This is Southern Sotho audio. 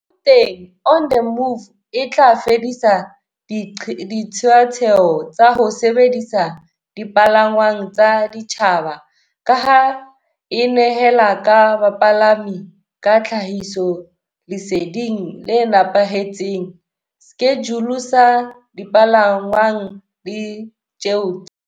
Gauteng on the Move e tla fedisa diqeaqeo tsa ho sebedisa dipalangwang tsa setjhaba, ka ha e nehela bapalami ka tlhahisoleseding le nepahetseng, skejule sa dipalangwang le di tjeo tsa.